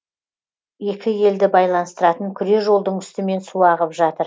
екі елді байланыстыратын күре жолдың үстімен су ағып жатыр